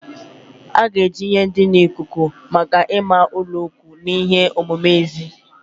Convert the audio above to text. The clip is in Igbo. A ga-eji ihe ndina ikuku maka ịma ụlọikwuu na ihe omume n'èzí.